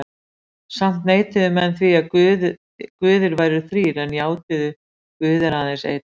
Samt neituðu menn því að guðir væru þrír en játuðu: Guð er aðeins einn.